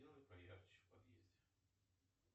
сделай поярче в подъезде